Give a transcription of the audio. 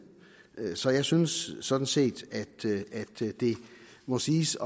det så jeg synes sådan set at det må siges